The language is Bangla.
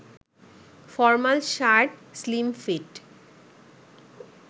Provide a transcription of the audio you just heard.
formal shirt, সিল্মফিট